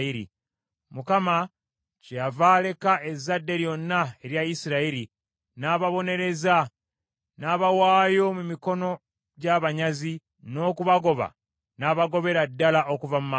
Mukama kyeyava aleka ezzadde lyonna erya Isirayiri, n’ababonereza, n’abawaayo mu mikono gy’abanyazi, n’okubagoba n’abagobera ddala okuva mu maaso ge.